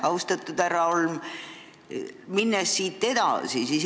Austatud härra Holm!